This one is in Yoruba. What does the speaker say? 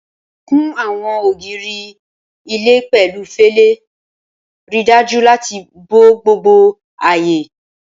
Kun àwọn ògiri ilé pẹ̀lú fẹlẹ, ríi dájú láti bo gbogbo ààyè.